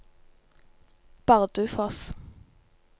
Bardufoss